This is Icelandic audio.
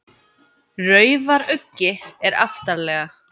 Raufaruggi er aftarlega.